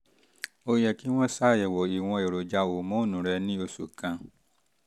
ó yẹ kí wọ́n ṣàyẹ̀wò ìwọ̀n èròjà hormone rẹ ní oṣù kan